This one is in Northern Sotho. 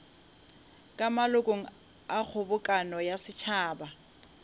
malokong a kgobokano ya setšhaba